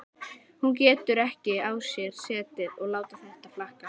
Hún getur ekki á sér setið að láta þetta flakka.